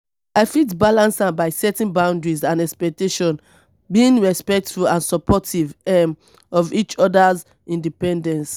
i fit balance am by setting boundaries and expectations being respectful and supportive um of each oda'a independence.